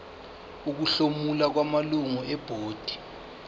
ukuhlomula kwamalungu ebhodi